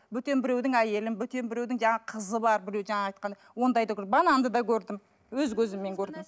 бөтен біреудің әйелін бөтен біреудің жаңа қызы бар біреу жаңа айтқандай ондайды да бананды да көрдім өз көзіммен көрдім